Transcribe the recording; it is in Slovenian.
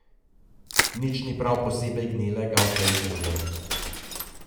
Nič ni prav posebej gnilega v tej deželi ...